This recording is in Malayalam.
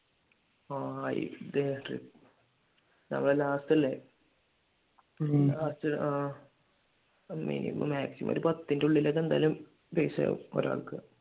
നമ്മടെ last അല്ലെ ആഹ് ഇനിയിപ്പോ maximum ഒരു പത്തിന്റെ ഉള്ളിൽ ഒക്കെ എന്തായാലും പൈസ ആകും ഒരാൾക്ക്